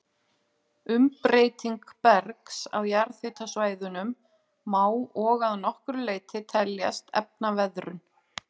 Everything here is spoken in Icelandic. Umbreyting bergs á jarðhitasvæðunum má og að nokkru leyti teljast efnaveðrun.